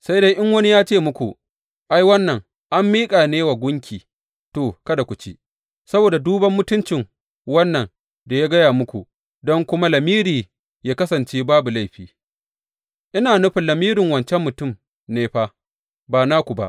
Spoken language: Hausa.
Sai dai in wani ya ce muku, Ai, wannan an miƙa ne wa gunki, to, kada ku ci, saboda duban mutuncin wannan da ya gaya muku, don kuma lamiri yă kasance babu laifi ina nufin lamirin wancan mutum ne fa, ba naku ba.